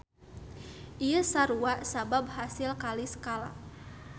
Ieu sarua sabab hasil kali skala.